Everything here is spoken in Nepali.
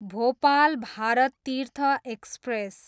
भोपाल भारत तीर्थ एक्सप्रेस